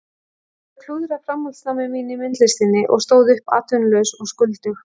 Ég hafði klúðrað framhaldsnámi mínu í myndlistinni og stóð uppi atvinnulaus og skuldug.